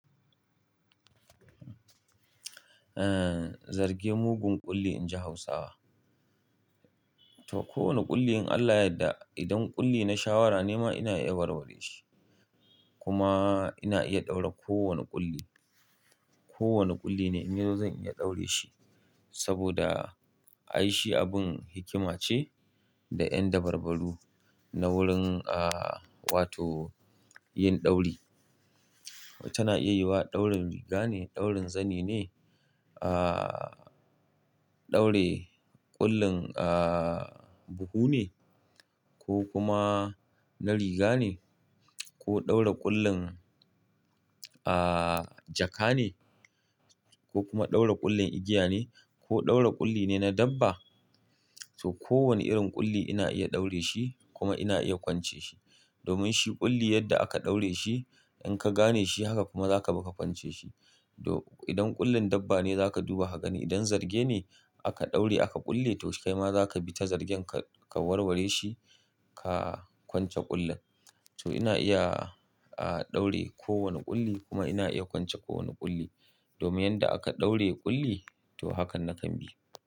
Eh, zarge mugun ƙulli inji Hausawa. To kowane ƙulli in Allah yadda idan ƙulli na shawara ne ma ina iya warware shi kuma ina iya ɗaura ko wane ƙulli. Ko wane ƙulli na in yazo zan iya ɗaure shi saboda a yi shi abin hikima ce da yan dabarbaru na wurin ah wato yin ɗauri. Tana iya yiwa ɗaurin riga ne, ɗaurin zani ne, ah ɗaure ƙullin ah buhu ne ko kuma na riga ne ko ɗaura ƙullin ah jaka ne ko kuma ɗaura ƙullin igiya ne ko ɗaura ƙulli ne na dabba. To kowane irin ƙulli ina iya ɗaure shi kuma ina iya kwance shi domin shi ƙulli yadda aka ɗaure shi in ka gane shi haka kuma za ka kuma kwance shi. To idan ƙullin dabba ne za ka duba ka gani, idan zarge ne aka ɗauri aka ƙulle to kai ma za ka bi ta zargen ka warware shi ka kwance ƙullin. To ina iya ah ɗaure ko wane ƙulli kuma ina iya kwance ko wane ƙulli domin yanda aka ɗaure ƙulli to hakan na kan bi.